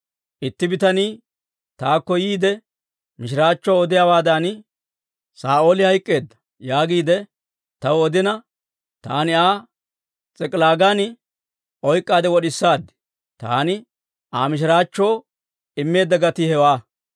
Itti bitanii taakko yiide, mishiraachchuwaa odiyaawaadan, ‹Saa'ooli hayk'k'eedda› yaagiide taw odina, taani Aa S'ik'ilaagan oyk'k'aade wod'isaad; taani Aa mishiraachchoo immeedda gatii hewaa.